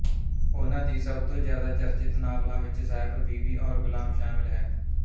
ਉਹਨਾਂ ਦੀ ਸਭ ਤੋਂ ਜਿਆਦਾ ਚਰਚਿਤ ਨਾਵਲਾਂ ਵਿੱਚ ਸਾਹਿਬ ਬੀਵੀ ਔਰ ਗੁਲਾਮ ਸ਼ਾਮਿਲ ਹੈ